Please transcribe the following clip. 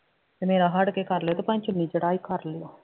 ਤੇ ਮੇਰਾ ਹੱਟ ਕੇ ਕਰ ਲਿਓ ਤੇ ਭਾਵੇਂ ਚੁੰਨੀ ਚੜ੍ਹਾਈ ਕਰ ਲਿਓ